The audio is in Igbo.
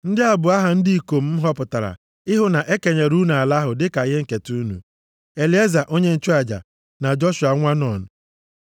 “Ndị a bụ aha ndị ikom m họpụtara ịhụ na e kenyere unu ala ahụ dịka ihe nketa unu. Elieza onye nchụaja, na Joshua nwa Nun.